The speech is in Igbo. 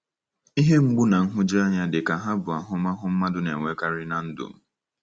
Ihe mgbu na nhụjuanya dịka ha abụ ahụmahụ mmadụ na-enwekarị ná ndụ.